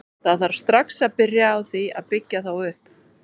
Það þarf strax að byrja á því að byggja þá upp.